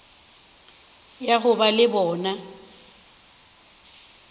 ya go ba le bona